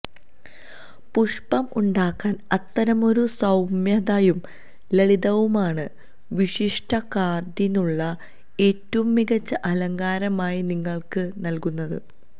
പുഷ്പം ഉണ്ടാക്കാൻ അത്തരമൊരു സൌമ്യതയും ലളിതവുമാണ് വിശിഷ്ട കാർഡിനുള്ള ഏറ്റവും മികച്ച അലങ്കാരമായി നിങ്ങൾക്ക് നൽകുന്നത്